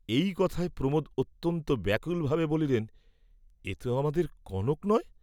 এই কথায় প্রমোদ অত্যন্ত ব্যাকুল ভাবে বলিলেন, এ তো আমাদের কনক নয়?